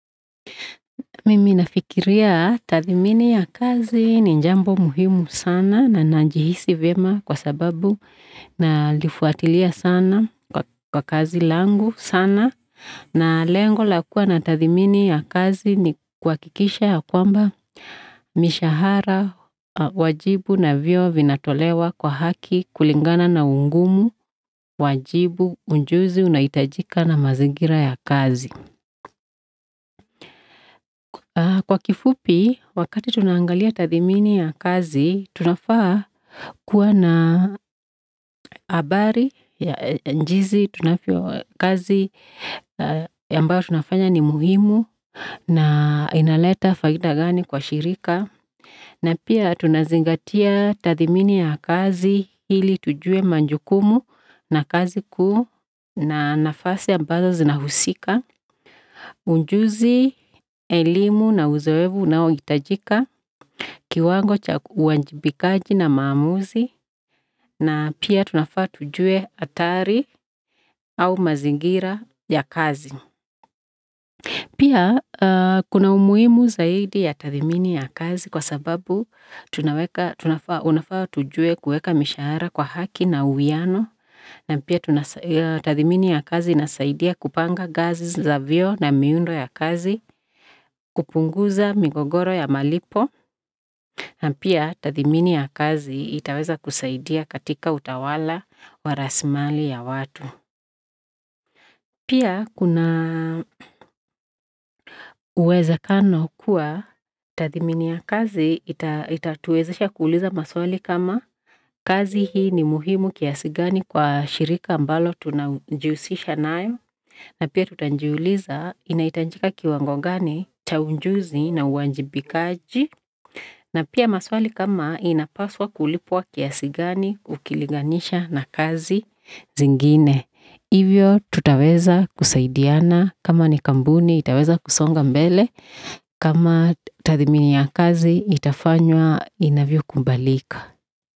Mimi nafikiria tathimini ya kazi ni jambo muhimu sana na najihisi vyema nalifuatilia sana kwa kazi langu sana na lengo la kuwa na tathimini ya kazi ni kuhakikisha ya kwamba mishahara wajibu na vyeo vinatolewa kwa haki kulingana na ungumu wajibu ujuzu inahitajika na mazingira ya kazi kwa ufupi wakati tunangalia tathimini ya kazi tunafaa kuwa na jinsi kazi ambayo tunafanya ni muhimu na inaleta faida gani kwa shirika na pia tunazingatia tathimini ya kazi ili tujue majukumu na kazi na nafasi ambazo zinahusika ujuzi elimu na uzoefu unaohitajika kiwango cha uwajibikaji na maamuzi na pia tunafaa tujue hatari au mazingira ya kazi pia kuna umuhimu zaidi ya tathmini ya kazi kwa sababu tunafaa tujue kuweka mishahara kwa haki na uwiano na pia tathmini ya kazi inasaidia kupanga gazi za vyeo na miundo ya kazi kupunguza migogoro ya malipo na pia tathmini ya kazi itaweza kusaidia katika utawala wa rasilimali ya watu pia kuna uwezekano kuwa tathmini ya kazi itatuezisha kuliza maswali kama kazi hii ni muhimu kiasi gani kwa shirika ambalo tunajihusisha nayo na pia tutajiuliza inahitajika kiwango gani cha ujuzi na uwajibikaji na pia maswali kama inapaswa kulipwa kiasi gani ukiliganisha na kazi zingine ivyo tutaweza kusaidiana kama ni kampuni itaweza kusonga mbele kama tathmini ya kazi itafanywa inavyokubalika.